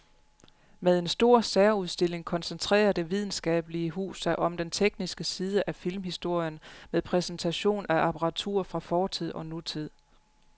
Med en stor særudstilling koncentrerer det videnskabelige hus sig om den tekniske side af filmhistorien med præsentation af apparatur fra fortid og nutid.